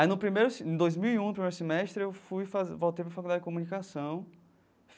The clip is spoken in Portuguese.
Aí no primeiro assim em dois mil e um, primeiro semestre, eu fui fazer voltei para a Faculdade de Comunicação.